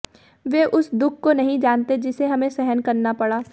वे उस दुख को नहीं जानते जिसे हमें सहन करना पड़ा